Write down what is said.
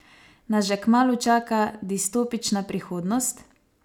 Nas že kmalu čaka distopična prihodnost?